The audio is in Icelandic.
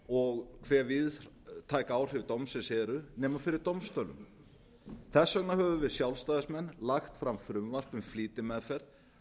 og hve víðtæk áhrif dómsins eru nema fyrir dómstólum þess vegna höfum við sjálfstæðismenn lagt fram frumvarp um flýtimeðferð